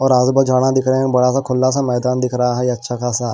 और रास भर झाड़ां दिख रहे हैं बड़ा सा खुला सा मैदान दिख रहा है अच्छा खासा।